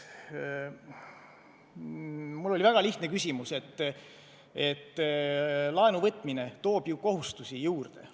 Mul oli väga lihtne küsimus selle kohta, et laenu võtmine toob ju kohustusi juurde.